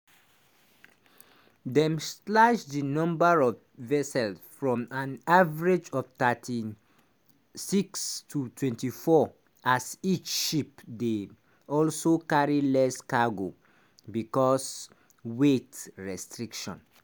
dem slash di number of vessels from an average of 36 to 24 as each ship dey also carry less cargo becos weight restrictions.